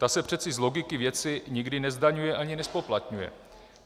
Ta se přece z logiky věci nikdy nezdaňuje ani nezpoplatňuje.